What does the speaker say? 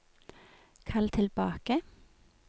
kall tilbake